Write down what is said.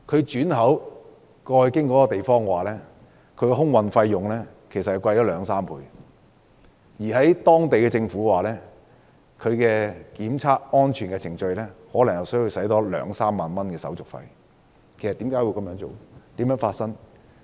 轉口經過一個地方，空運費用貴了兩三倍，當地政府檢測食物安全需要多花兩三萬元手續費，為何要轉口？